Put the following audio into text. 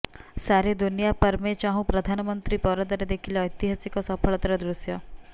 ସାରେ ଦୁନିଆ ପର୍ ମେ ଚାହୁଁ ପ୍ରଧାନମନ୍ତ୍ରୀ ପରଦାରେ ଦେଖିଲେ ଐତିହାସିକ ସଫଳତାର ଦୃଶ୍ୟ